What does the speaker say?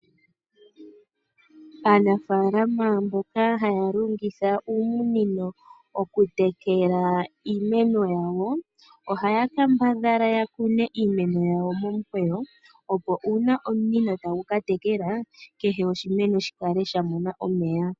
Aanafaalama mboka haya longitha ominino okutekela iimeno yawo ohaya kambadhala ya kune iimeno yawo momukweyo, opo uuna omunino tagu ka tekela kehe oshimeno shi kale sha mona omeya.